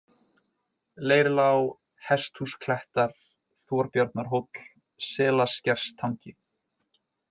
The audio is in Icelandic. Leirlág, Hesthúsklettar, Þorbjarnarhóll, Selaskerstangi